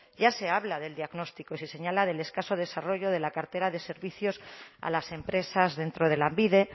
ya se habla del diagnóstico y se señala del escaso desarrollo de la cartera de servicios a las empresas dentro de lanbide